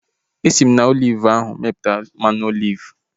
Esi m na oliv ahu mepụta mmanụ oliv